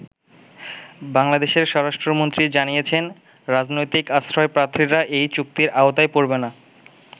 বাংলাদেশের স্বরাষ্ট্রমন্ত্রী জানিয়েছেন, রাজনৈতিক আশ্রয়প্রার্থীরা এই চুক্তির আওতায় পরবে না।